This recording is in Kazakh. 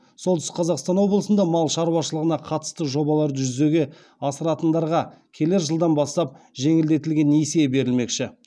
солтүстік қазақстан облысында мал шаруашылығына қатысты жобаларды жүзеге асыратындарға келер жылдан бастап жеңілдетілген несие берілмекші